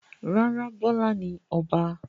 Rárá, Bọ́lá ni Ọba.